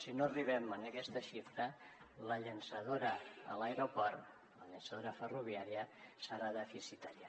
si no arribem a aquesta xifra la llançadora a l’aeroport la llançadora ferroviària serà deficitària